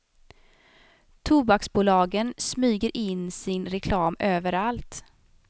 Tobaksbolagen smyger in sin reklam överallt.